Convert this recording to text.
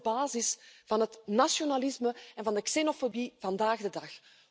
Want dat is de basis van het nationalisme en van de xenofobie vandaag de dag.